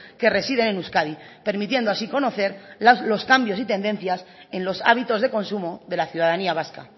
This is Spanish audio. que residen en euskadi permitiendo así conocer los cambios y tendencias en los hábitos de consumo de la ciudadanía vasca